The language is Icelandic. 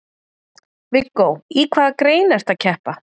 Viggó: Í hvaða grein ertu að keppa?